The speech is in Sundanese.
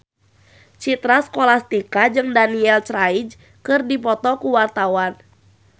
Citra Scholastika jeung Daniel Craig keur dipoto ku wartawan